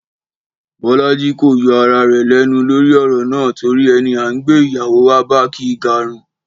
Bọ́lájí kò yọ ara rẹ̀ lẹ́nu lórí ọ̀rọ̀ náà torí ẹni à ń gbé ìyàwó wá bá kì í garùn